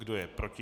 Kdo je proti?